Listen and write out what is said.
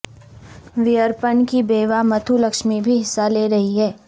ویرپن کی بیو ہ متھو لکشمی بھی حصہ لے رہی ہیں